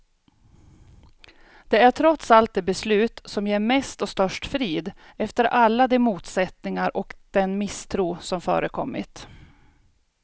Det är trots allt det beslut som ger mest och störst frid, efter alla de motsättningar och den misstro som förekommit.